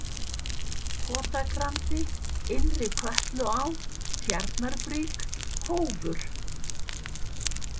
Kotagrandi, Innri-Kötluá, Tjarnarbrík, Hófur